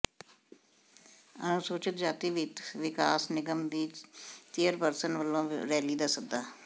ਅਨੁਸੂਚਿਤ ਜਾਤੀ ਵਿੱਤ ਵਿਕਾਸ ਨਿਗਮ ਦੀ ਚੇਅਰਪਰਸਨ ਵਲੋਂ ਰੈਲੀ ਦਾ ਸੱਦਾ